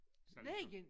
Snekken